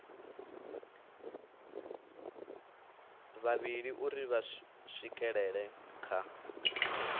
vhavhili uri vha swikelele kha